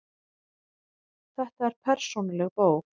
Þetta er persónuleg bók.